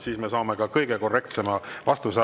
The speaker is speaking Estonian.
Siis me saame kõige korrektsema vastuse.